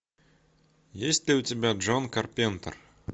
есть ли у тебя джон карпентер